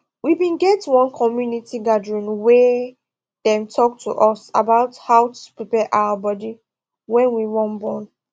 we bin get one community gathering wey dem talk to us about how to prepare our body when we wan born